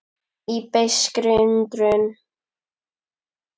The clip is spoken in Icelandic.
Í beiskri undrun.